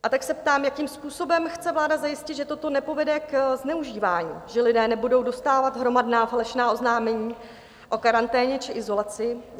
A tak se ptám, jakým způsobem chce vláda zajistit, že toto nepovede k zneužívání, že lidé nebudou dostávat hromadná plošná oznámení o karanténě či izolaci?